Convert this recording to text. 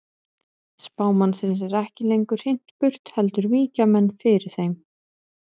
Spámannsins er ekki lengur hrint burt heldur víkja menn fyrir þeim.